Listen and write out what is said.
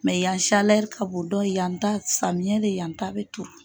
yan ka bon dɔ yan ta samiyɛ de yan ta bɛ turu.